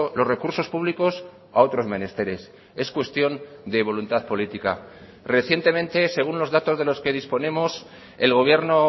los recursos públicos a otros menesteres es cuestión de voluntad política recientemente según los datos de los que disponemos el gobierno